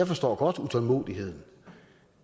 forstår utålmodigheden